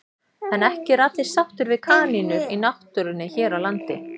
En ekki eru allir sáttir við kanínur í náttúrunni hér á landi.